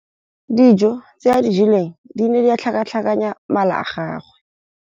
Dijô tse a di jeleng di ne di tlhakatlhakanya mala a gagwe.